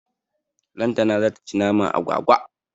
Lantana zata ci naman agwagwa.